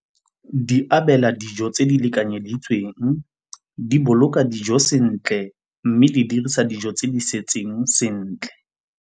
Di abela dijo tse di lekanyeditsweng, di boloka dijo sentle mme di dirisa dijo tse di setseng sentle.